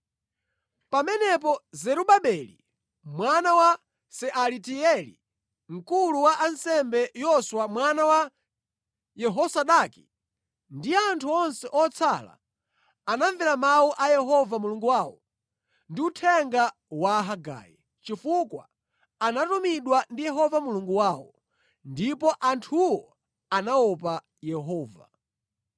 Pamenepo Zerubabeli mwana wa Sealatieli, mkulu wa ansembe Yoswa mwana wa Yehozadaki, ndi anthu onse otsala anamvera mawu a Yehova Mulungu wawo ndi uthenga wa Hagai, chifukwa anatumidwa ndi Yehova Mulungu wawo. Ndipo anthuwo anaopa Yehova.